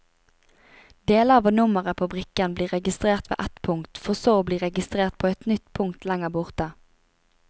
Deler av nummeret på brikken blir registrert ved ett punkt, for så å bli registrert på et nytt punkt lengre borte.